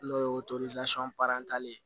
N'o ye ye